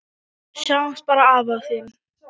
Sjáðu bara afa þinn.